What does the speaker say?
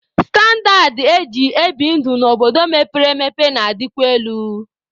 Standaad eji ebi ndụ n'obodo mepere emepe na-adịkwa elu.